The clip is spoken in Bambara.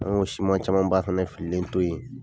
An y'o siman caman ba fɛnɛ fililen to yen.